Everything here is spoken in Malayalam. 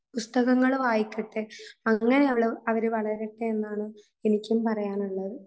പുസ്തകങ്ങൾ വായിക്കട്ടെ അങ്ങനെ അവര് വളരട്ടെ എന്നാണു എനിക്കും പറയാനുള്ളത്